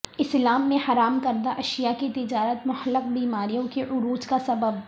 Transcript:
اسلام میں حرام کردہ اشیاء کی تجارت مہلک بیماریوں کے عروج کا سبب